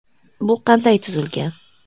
Bu qanday tuzilgan?